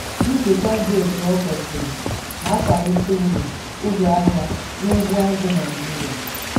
Njikwa dị etu o kwesiri na-akwalite uru uru ahịa n'ugbo azụ̀ Naịjiria.